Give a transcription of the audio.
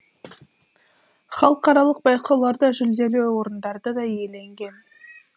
халықаралық байқауларда жүлделі орындарды да иеленген